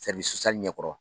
ɲɛ kɔrɔ